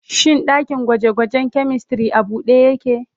Shin dakin gwaje-gwajen chemistry a bude yake?